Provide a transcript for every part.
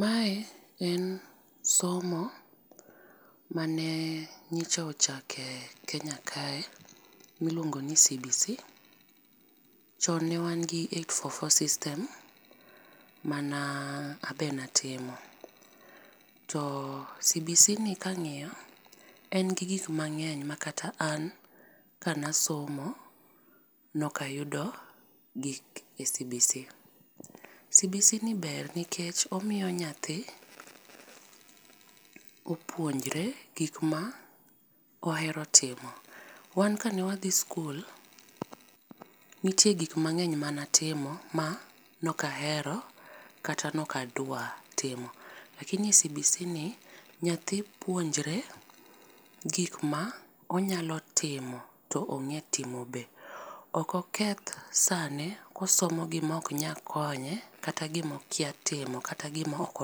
Mae en somo mane nyocha ochake Kenya kae miluongo ni cbc chon ne wan gi eight four four system mana an be be atimo. To cbc ni ka ang'iyo en gi gik ma ngeny ma kata an ka ne asomo ne ok ayudo gi cbc.Cbc ni ber nikech omiyo nyathi opuonjre gik ma ohero timo. Wan ka ne wadhi skul ne nitie gik mangeny mane atimo ma ne ok ahero kata ne ok adwa timo. Lakini cbc ni nyathi puonjre gik m onya timo to ong'e timo be. ok oketh sane ka osomo gik ma ok nyal konye kata gi ma okia timo kata gi ma ok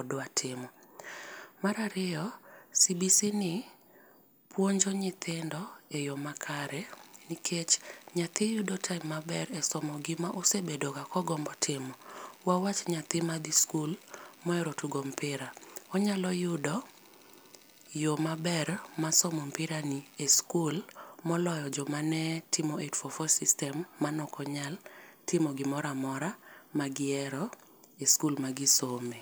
odwa timo. Mar ariyo cbc ni puonjo nythindo e yo ma kare nikech nyathi yudo time ma ber e somo gi ma osebdo ga ka ogombo timo wach nyathi ma dhi skul ma ohero tugo mpira, onyalo yudo yo ma ber mar somo opira ni e skul moloyo jo ma ne timo eight four four system mane okonyal timo gi moro amora ma ne gi hero e skul mane gi some.